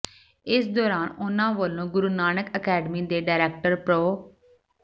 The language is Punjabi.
ਇਸ ਦੌਰਾਨ ਉਨ੍ਹਾਂ ਵੱਲੋਂ ਗੁਰੂ ਨਾਨਕ ਅਕੈਡਮੀ ਦੇ ਡਾਇਰੈਕਟਰ ਪ੍ਰੋ